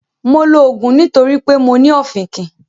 Mo lò òògùn nítorí pé mo ní ọ̀fìnkìn